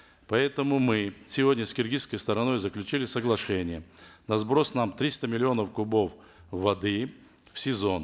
поэтому мы сегодня с киргизской стороной заключили соглашение на сброс нам триста миллионов кубов воды в сезон